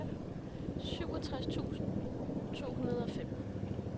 syvogtres tusind to hundrede og fem